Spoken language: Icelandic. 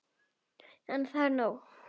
En er það nóg?